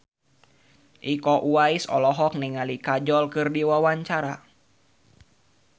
Iko Uwais olohok ningali Kajol keur diwawancara